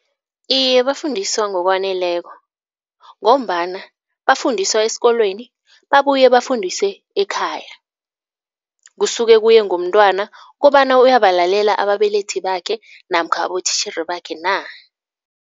Iye bafundiswa ngokwaneleko ngombana bafundiswa esikolweni babuye bafundiswe ekhaya. Kusuke kuye ngomntwana kobana, uyabalalela ababelethi bakhe namkha abotitjhere bakhe na?